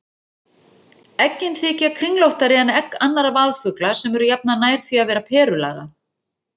Eggin þykja kringlóttari en egg annarra vaðfugla sem eru jafnan nær því að vera perulaga.